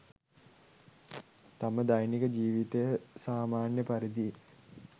තම දෛනික ජීවිතය සාමාන්‍ය පරිදි